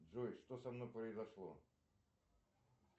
джой что со мной произошло